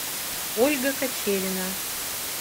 ольга кочерина